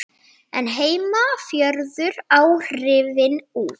en heima fjöruðu áhrifin út.